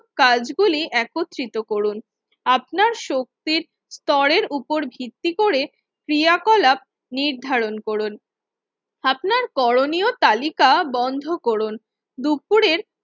কাজ গুলি একত্রিত রকুন, আপনার শক্তির স্তরের উপর ভিত্তি করে ক্রিয়াকলাপ নির্ধারণ রকুন, আপনার করণীয় তালিকা বন্ধ করুন। দুপুরের